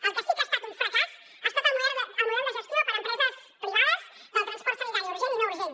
el que sí que ha estat un fracàs ha estat el model de gestió per empreses privades del transport sanitari urgent i no urgent